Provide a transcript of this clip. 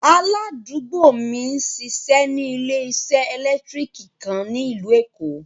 Aládùúgbò mi n ṣíṣẹ́ ní ilẹ̀ṣẹ̀ èlẹ́ktríkì kan ní ílú Èkó.